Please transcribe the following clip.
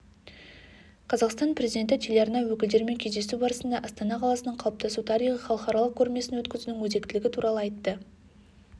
қазақстан президенті телеарна өкілдерімен кездесу барысында астана қаласының қалыптасу тарихы халықаралық көрмесін өткізудің өзектілігі туралы айтты